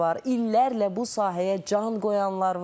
İllərlə bu sahəyə can qoyanlar var.